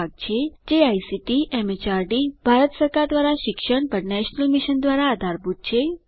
જે ICT MHRD Bharat સરકાર દ્વારા શિક્ષણ પર નેશનલ મિશન દ્વારા આધારભૂત છે આ મિશન વિશે વધુ માહીતી આ લીંક ઉપર ઉપલબ્ધ છે httpspoken tutorialorgNMEICT Intro